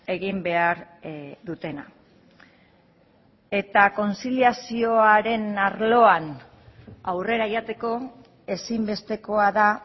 egin behar dutena eta kontziliazioaren arloan aurrera joateko ezinbestekoa da